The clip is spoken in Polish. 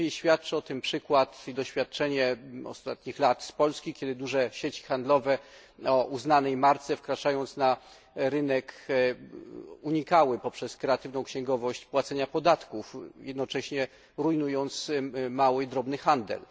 Najlepiej świadczy o tym przykład i doświadczenie ostatnich lat z Polski, kiedy duże sieci handlowe o uznanej marce, wkraczając na rynek, unikały poprzez kreatywną księgowość płacenia podatków, jednocześnie rujnując mały i drobny handel.